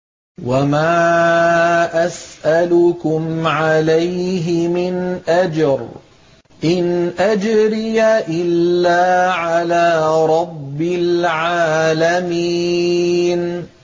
وَمَا أَسْأَلُكُمْ عَلَيْهِ مِنْ أَجْرٍ ۖ إِنْ أَجْرِيَ إِلَّا عَلَىٰ رَبِّ الْعَالَمِينَ